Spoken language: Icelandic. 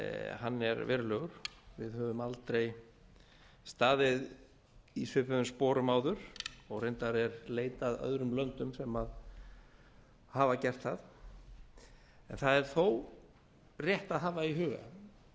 hann er verulegur við höfum aldrei staðið í svipuðum sporum áður og reyndar er leit að öðrum löndum sem hafa gert það en það er þó rétt að hafa í huga og